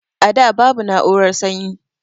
A da babu na'urar sanyi